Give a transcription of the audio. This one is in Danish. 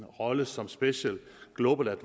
rolle som special global